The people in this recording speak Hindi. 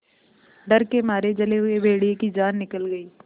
डर के मारे जले हुए भेड़िए की जान निकल गई